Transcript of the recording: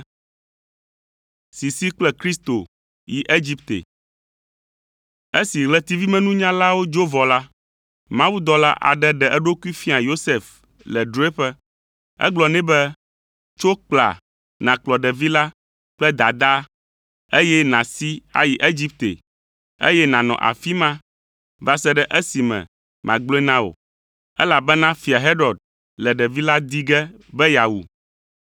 Esi ɣletivimenunyalawo dzo vɔ la, mawudɔla aɖe ɖe eɖokui fia Yosef le drɔ̃eƒe. Egblɔ nɛ be, “Tso kpla nàkplɔ ɖevi la kple dadaa, eye nàsi ayi Egipte, eye nànɔ afi ma va se ɖe esime magblɔe na wò, elabena Fia Herod le ɖevi la di ge be yeawu.”